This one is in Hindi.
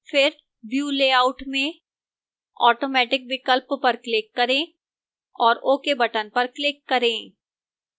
फिर view layout में automatic विकल्प पर click करें और ok बटन पर click करें